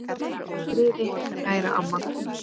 Hvíldu í friði, kæra amma.